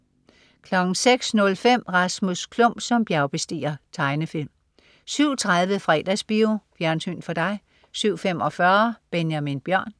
06.05 Rasmus Klump som bjergbestiger. Tegnefilm 07.30 Fredagsbio. Fjernsyn for dig 07.45 Benjamin Bjørn